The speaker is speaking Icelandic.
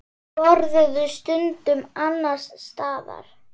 Borðuðu stundum annars staðar.